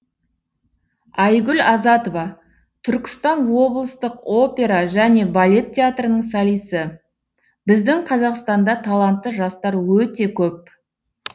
айгүл азатова түркістан облыстық опера және балет театрының солисі біздің қазақстанда талантты жастар өте көп